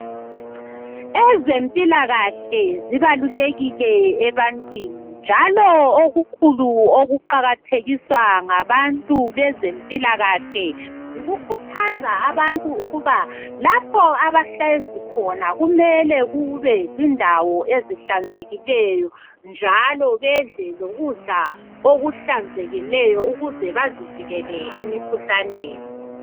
Ezempilakahle zibalulekile ebantwini njalo okukhulu okuqakathekiswa ngabantu bezempilakahle yikukhuthaza abantu ukuba lapho abahlezi khona kumele kube zindawo ezihlanzekileyo njalo bedle lokudla okuhlanzekileyo ukuze bazivikele emikhuhlaneni.